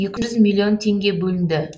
екі жүз миллион теңге бөлінді